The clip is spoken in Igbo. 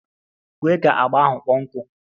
Kwe ka agba ahụ kpọọ nkụ!